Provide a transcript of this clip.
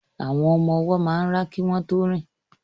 Àwọn ọmọ ọwọ́ máa ń rá kí wọ́n tó rìn